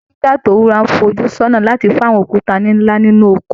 Ẹnu jígà tí ó wúra ńfojú sọ́nà láti fọ́ àwọn òkúta nla nínú oko.